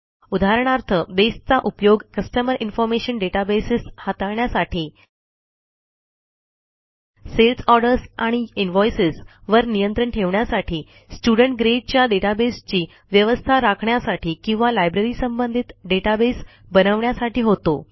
उदाहरणार्थ बेसचा उपयोग कस्टमर इन्फॉर्मेशन डेटाबेस हाताळण्यासाठी सेल्स ऑर्डर्स आणि इनव्हॉइसेस वर नियंत्रण ठेवण्यासाठी स्टुडेंट gradeच्या databaseची व्यवस्था राखण्यासाठी किंवा libraryसंबंधित डेटाबेस बनवण्यासाठी होतो